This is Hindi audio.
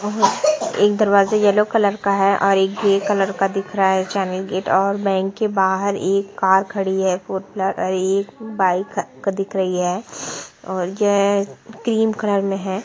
एक दरवाजा येलो कलर का है और एक ग्रे कलर का दिख रहा है गेट और बैंक के बाहर एक कार खड़ी है एक बाइक दिख रही है और यह क्रीम कलर में है।